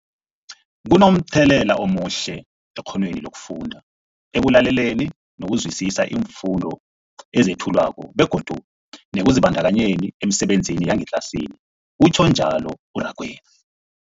Kunomthelela omuhle ekghonweni lokufunda, ekulaleleni nokuzwisiswa iimfundo ezethulwako begodu nekuzibandakanyeni emisebenzini yangetlasini, utjhwe njalo u-Rakwena.